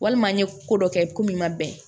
Walima an ye ko dɔ kɛ ko min ma bɛn